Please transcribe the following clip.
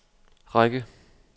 række